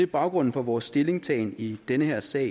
baggrunden for vores stillingtagen i den her sag